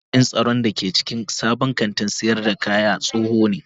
Jami'in tsaron da ke cikin sabon kantin sayar da kayadin tsoho ne